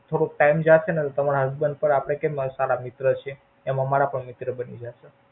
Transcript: થોડોક ટાઈમ જાશે ને તો તમારા Husband પણ આપડે કેમ સારા મિત્ર છી. એમ અમારા પણ મિત્ર બની જાયે.